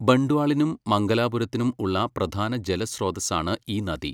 ബണ്ട്വാളിനും മംഗലാപുരത്തിനും ഉള്ള പ്രധാന ജലസ്രോതസ്സാണ് ഈ നദി.